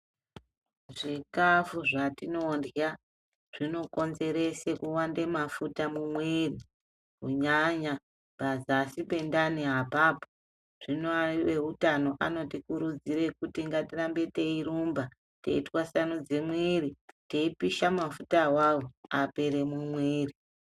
Zvikafu zvatinodya zvinokonzerese kuwanze mafuta mumwiri kunyanya pazasi pendani apapo zvino ewutano anotikurudzire kuti ngatirambe teirumba teirwasanudza mwiri teipisha mafuta awawo apere mumwiri.